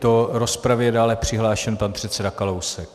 Do rozpravy je dále přihlášen pan předseda Kalousek.